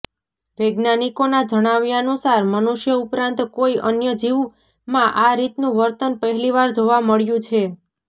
વૈજ્ઞાનિકોના જણાવ્યાનુસાર મનુષ્ય ઉપરાંત કોઇ અન્ય જીવમાં આ રીતનું વર્તન પહેલીવાર જોવા મળ્યું છે